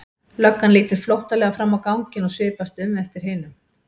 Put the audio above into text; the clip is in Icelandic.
Löggan lítur flóttalega fram á ganginn og svipast um eftir hinum.